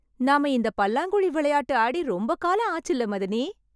நாம இந்த பல்லாங்குழி விளையாட்டு ஆடி ரொம்ப காலம் ஆச்சுல்ல மதனி...